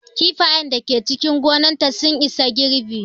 Kifayen da Ke cikin gonar ta sun isa girɓi